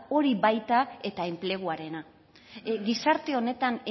hori baita eta enpleguarena gizarte honetan